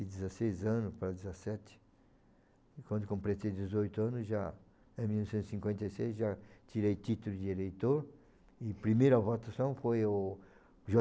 dezesseis anos para dezessete, e quando completei dezoito anos, em mil novecentos e cinquenta e seis, já tirei título de eleitor e a primeira votação foi o